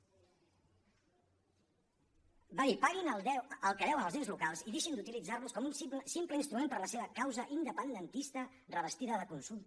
va dir paguin el que deuen als ens locals i deixin d’utilitzarlos com un simple instrument per a la seva causa independentista revestida de consulta